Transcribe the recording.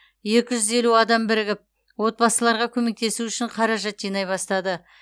екі жүз елу адам бірігіп отбасыларға көмектесу үшін қаражат жинай бастады